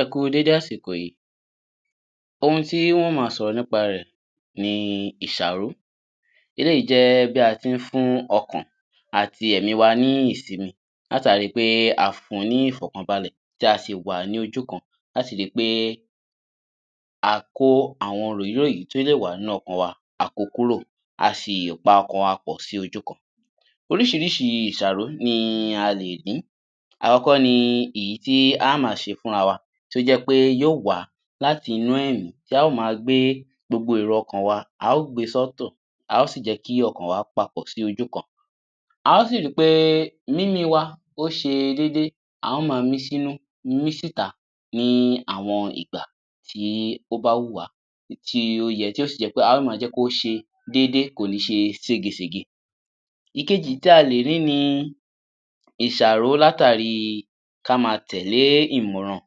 Ẹ kú dédé àsìkò yìí, ohun tí a ó ma sọ̀rọ̀ nípa rẹ̀ ni ìsàró. Eléyìí jẹ́ bí a tí ń fún ọkàn àti ẹ̀mí wa ní ìsími látàrí pé a fún ní ìfọkànbalẹ̀ tí a sì wà ní ojú kan láti rí pé a kó àwọn ròyí ròyí tí ó lè wá nínú ọkàn wa, a ko kúrò a sì pa ọkàn wa pọ̀ sí ojú kan. Oríṣiríṣi ìsàró ni a lè ní. Àkọ́kọ́ ni èyí tí a ó ma ṣe fún ara wa tí ó jẹ́ pé yóò wá láti inú ẹ̀mí tí á ò ma gbé èrò ọkàn wa, a ó gbé sọ́ọ́tọ̀ à ó sì gẹ́kí ọkàn wa papọ̀ sí ojú kan. A ó sì rí pé mímí wa ó ṣe dédé, a ó ma mí sínú mi síta ní àwọn ìgbà tí ó bá wùnwá tí ó yẹ ti o sì jẹ́ pé á ò ma jẹ́ kì ó ṣe dédé kò ní ṣe ségesège. Ìkejì tí a lẹ̀ rí ni ìsàró látàrí ka ma tẹ̀lẹ́ ìmọ̀ràn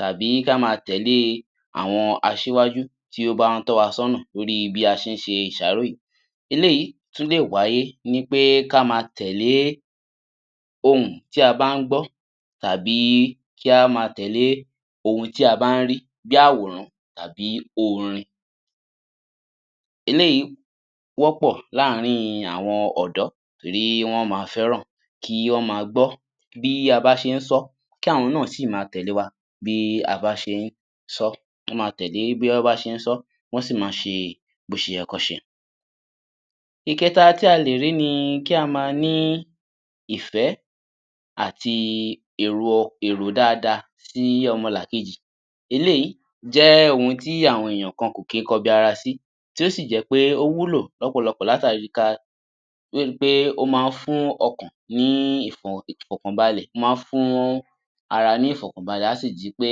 tàbí ka ma tẹ̀lẹ́ àwọn asíwájú tí ó bá ń tọ́ wa sọ́nà lórí bí a ṣé ń ṣe ìsàró yìí, eléyìí tún lè wáyé kí a ma tẹ̀lẹ́ ohùn tí a bá ń gbọ́ kí a ma tẹ̀lẹ́ ohun tí a bá ń rí bí àwòrán àbí orin. eléyìí Wọ́pọ̀ láàárín àwọn ọ̀dọ́ tí wọ́n ma fẹ́ràn kí wọ́n ma gbọ́ bí wọ́n ṣe ń sọ́ kí àwọn náà sì ma tẹ̀lẹ́ wa bí a bá ṣé ń sọ́ kí wọn si má ṣe bí ó yẹ kí wọ́n ṣe. Ìkẹta tí a lè rí ni kí a má ni ìfẹ́ àti èrò dáadáa sí ọmọlàkejì, eléyìí jẹ́ ohun tí àwọn ènìyàn kan kì í kọbi ara sí tí ó sì jẹ́ pé ó wúlò lọ́pọ̀lọpọ̀ látàrí fún ọkàn ni ìfọkànbalẹ̀ ó máa ń fún ara ní ìfọkànbalẹ̀ a sì di pé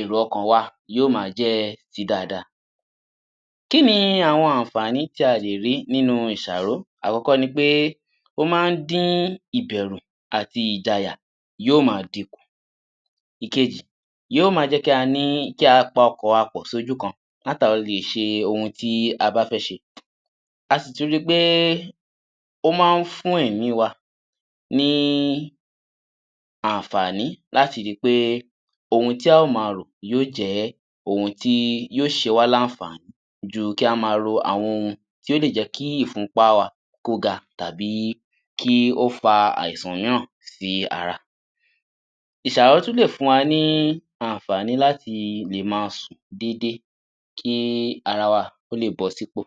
èrò ọkàn wa yóò ma jẹ́ dáadáa. Kí ni àwọn àǹfààní tí a lè rí nínú ìsàró, àkọ́kọ́ ni pé, ó máa ń dín ìbẹ̀rù, ìjàyà yóò ma di kùn. Ó máa ń jẹ́ kí a pa ọkàn wa pọ̀ sí ojú kan láti lè jẹ́ kí a ṣe ohun tí a fẹ́ ṣe, a sì tún ri pé ó máa ń fún ẹ̀mí wa ni àǹfààní láti rí pé ohun tí á ò ma rò yóò jẹ́ ohun tí ó ṣe wá ní àǹfààní ju kí á ma rò àwọn ohun tí ó lè jẹ́ kí ìfúnpá wa kó ga tàbí kí ó fa àìsàn mìíràn sí ara. Ìsàró tún lè fún wa ní àǹfààní láti lè ma sùn dédé kí ara wa lè bọ́ sí ipò